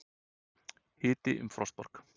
Hiti um frostmark